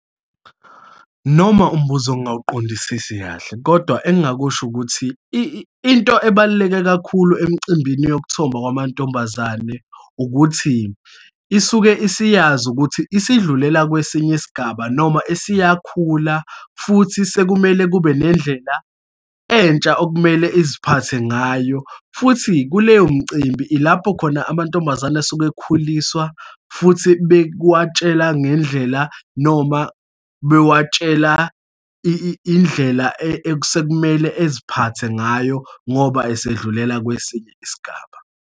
Noma umbuzo ngingawuqondisisi kahle, kodwa engingakusho ukuthi, into ebaluleke kakhulu emcimbini yokuthomba kwamantombazane ukuthi, isuke isiyazi ukuthi isidlulela kwesinye isigaba, noma esiyakhula, futhi sekumele kube nendlela entsha okumele iziphathe ngayo. Futhi kuleyo mcimbi ilapho khona amantombazane esuke ekhuliswa, futhi bekuwatshela ngendlela, noma bewatshela indlela esekumele eziphathe ngayo ngoba esedlulela kwesinye isigaba.